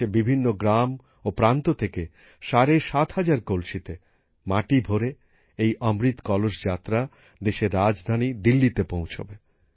দেশের বিভিন্ন গ্রাম ও প্রান্ত থেকে ৭৫০০ কলসিতে মাটি ভরে এই অমৃত কলস যাত্রা দেশের রাজধানী দিল্লিতে পৌছবে